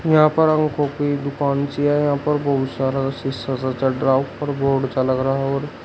यहां पर आंखों की दुकान सी है। यहां पर बहुत सारा शीशा सा चढ़ रहा है। ऊपर बोर्ड सा लग रहा है और --